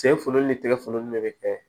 Sen folo ni tigɛ funen de be kɛ